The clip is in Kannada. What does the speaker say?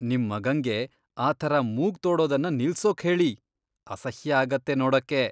ನಿಮ್ ಮಗಂಗೆ ಆ ಥರ ಮೂಗ್ ತೋಡೋದನ್ನ ನಿಲ್ಸೋಕ್ ಹೇಳಿ, ಅಸಹ್ಯ ಆಗತ್ತೆ ನೋಡಕ್ಕೆ.